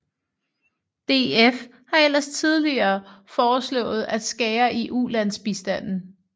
DF har ellers tidligere foreslået at skære i ulandsbistanden